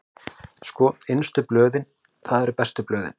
Sko, innstu blöðin, það eru bestu blöðin.